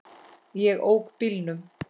Ég ók bílnum.